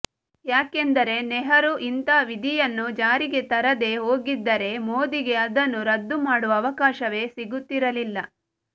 ಯಾಕೆಂದರೆ ನೆಹರೂ ಇಂಥಾ ವಿಧಿಯನ್ನು ಜಾರಿಗೆ ತರದೇ ಹೋಗಿದ್ದರೆ ಮೋದಿಗೆ ಅದನ್ನು ರದ್ದುಮಾಡುವ ಅವಕಾಶವೇ ಸಿಗುತ್ತಿಿರಲಿಲ್ಲ